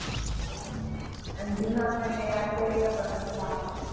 એમ જૂના friend ને યાદ કરીને પણ મજા આવે.